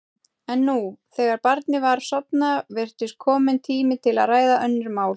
En nú, þegar barnið var sofnað, virtist kominn tími til að ræða önnur mál.